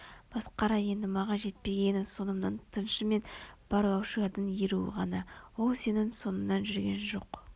масқара енді маған жетпегені соңымнан тыңшы мен барлаушылардың еруі ғана ол сенің соңыңнан жүрген жоқ